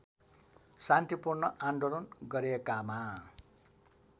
शान्तिपूर्ण आन्दोलन गरेकामा